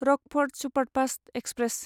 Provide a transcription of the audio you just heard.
Rockfort superfast express